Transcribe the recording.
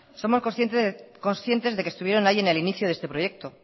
somos conscientes de que estuvieron allí en el inicio de este proyecto